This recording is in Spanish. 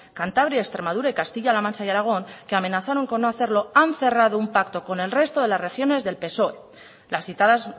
cantabria extremadura castilla la mancha y aragón que amenazaron con no hacerlo han cerrado un pacto con el resto de las regiones del psoe las citadas